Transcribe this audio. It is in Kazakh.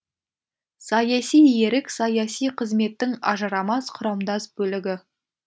саяси ерік саяси қызметтің ажырамас құрамдас бөлігі